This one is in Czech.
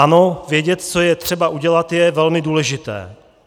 Ano, vědět, co je třeba udělat, je velmi důležité.